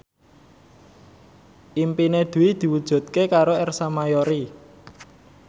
impine Dwi diwujudke karo Ersa Mayori